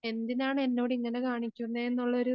എന്തിനാണ് എന്നോടിങ്ങനെ കാണിക്കുന്നേയുള്ളൊരു